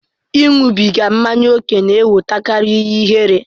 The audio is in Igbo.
Ịṅụbiga mmanya ókè na-ewetakarị ihe ihere.